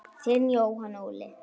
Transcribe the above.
Þinn Jóhann Óli.